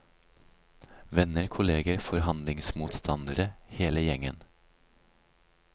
Venner, kolleger, forhandlingsmotstandere, hele gjengen.